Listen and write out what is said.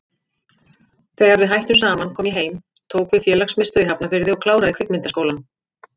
Þegar við hættum saman kom ég heim, tók við félagsmiðstöð í Hafnarfirði og kláraði Kvikmyndaskólann.